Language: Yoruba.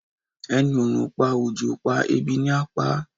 Ẹni oòrùn ò pa, òjò ò pa, ebi ni á pa á